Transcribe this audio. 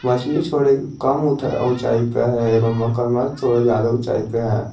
मछली छोड़े कम ऊंचाई पे है एवं मगरमच्छ थोड़ा ज्यादा ऊंचाई पे है।